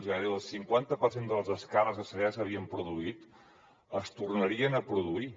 que gairebé el cinquanta per cent de les descàrregues que ja s’havien produït es tornarien a produir